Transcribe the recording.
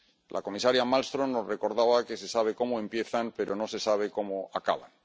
La comisaria Malmström nos recordaba que se sabe cómo empiezan pero no se sabe cómo acaban.